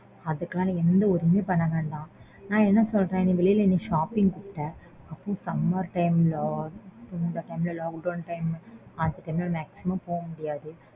அதுக்குலாம் நீ எந்த worry யும் பண்ண வேண்டாம். நான் என்ன சொல்றேன் வெளில நீ shopping போற summer time ல lockdown ல அதுலலாம் maximum போமுடியாது.